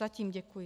Zatím děkuji.